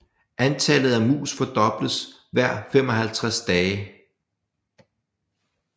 Antallet af mus fordobles hver 55 dage